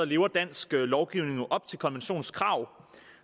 lever dansk lovgivning jo op til konventionens krav